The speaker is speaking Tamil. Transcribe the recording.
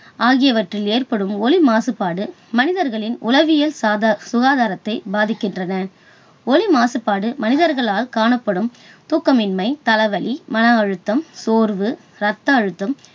ஆகியவற்றில் ஏற்படும் ஒலி மாசுபாடு மனிதர்களின் உளவியல் சாத~சுகாதாரத்தை பாதிக்கின்றன. ஒலி மாசுபாடு மனிதர்களில் காணப்படும் தூக்கமின்மை, தலைவலி, மன அழுத்தம், சோர்வு, ரத்த அழுத்தம்